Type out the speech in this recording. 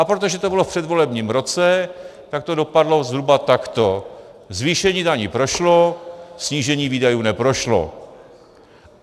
A protože to bylo v předvolebním roce, tak to dopadlo zhruba takto: zvýšení daní prošlo, snížení výdajů neprošlo.